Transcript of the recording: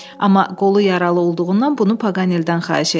Amma qolu yaralı olduğundan bunu Paqaneldən xahiş etdi.